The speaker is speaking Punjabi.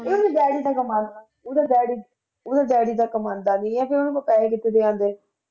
ਉਹਦੇ daddy ਤਾਂ ਕਮਾ, ਉਹਦਾ daddy ਉਹਦਾ daddy ਤਾਂ ਕਮਾਉਂਦਾ ਨੀ ਹੈ ਫਿਰ ਉਹਨਾਂ ਕੋਲ ਪੈਸੇ ਕਿੱਥੋਂ ਦੀ ਆਉਂਦੇ।